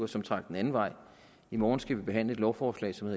som trak den anden vej i morgen skal vi behandle et lovforslag som